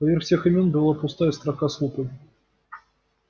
поверх всех имён была пустая строка с лупой